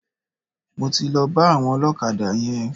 Mo ti lọ bá àwọn ọlọ́kadà yẹn.